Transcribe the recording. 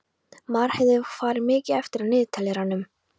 Marheiður, hvað er mikið eftir af niðurteljaranum?